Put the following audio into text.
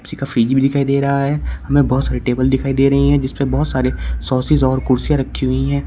एक फ्रिज दिखाई दे रहा है हमे बहोत सारी टेबल दिखाई दे रही हैं जिस पर बहोत सारे सॉसेज और कुर्सियां रखी हुईं है।